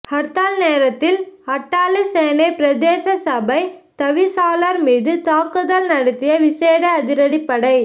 ஹர்த்தால் நேரத்தில் அட்டாளைச்சேனை பிரதேச சபை தவிசாளர் மீது தாக்குதல் நடத்திய விசேட அதிரடிப்படை